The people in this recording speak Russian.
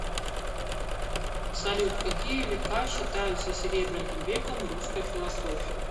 салют какие века считаются серебряным веком русской философии